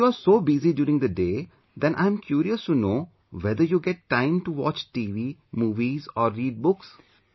If you are so busy during the day, then I'm curious to know whether you get time to watchTV, movies or read books